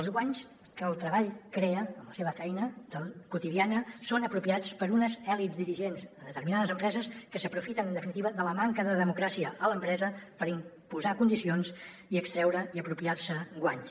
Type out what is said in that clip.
els guanys que el treball crea en la seva feina quotidiana són apropiats per unes elits dirigents a determinades empreses que s’aprofiten en definitiva de la manca de democràcia a l’empresa per imposar condicions i extreure i apropiar se guanys